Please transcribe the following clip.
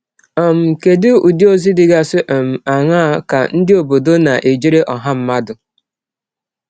um Kedụ Ụdị ọzi dịgasị um aṅaa ka ndị ọbọdọ na - ejere ọha mmadụ?